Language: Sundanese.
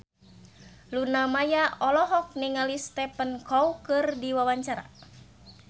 Luna Maya olohok ningali Stephen Chow keur diwawancara